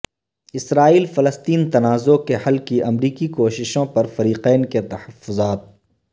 اسرائیل فلسطین تنازع کے حل کی امریکی کوششوں پر فریقین کے تحفظات